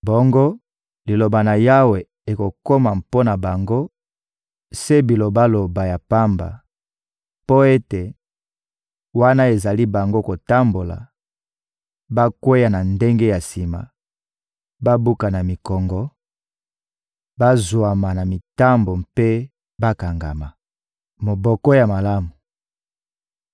Bongo Liloba na Yawe ekokoma mpo na bango se bilobaloba ya pamba mpo ete, wana ezali bango kotambola, bakweya na ndenge ya sima, babukana mikongo, bazwama na mitambo mpe bakangama. Moboko ya malamu